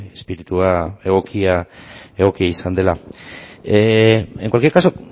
izpiritua egokia izan dela en cualquier caso